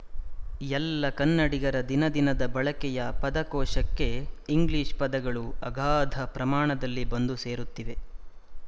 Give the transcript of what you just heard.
ಎಲ್ಲ ಕನ್ನಡಿಗರ ದಿನದಿನದ ಬಳಕೆಯ ಪದಕೋಶಕ್ಕೆ ಇಂಗ್ಲಿಶ ಪದಗಳು ಅಗಾಧ ಪ್ರಮಾಣದಲ್ಲಿ ಬಂದು ಸೇರುತ್ತಿವೆ